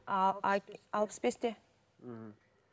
ааа алпыс бесте мхм